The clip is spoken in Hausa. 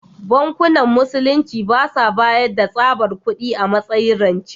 Bankunan Musulunci ba sa bayar da tsabar kudi a matsayin rance.